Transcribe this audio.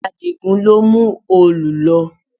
Adigun ló mú òòlù lọ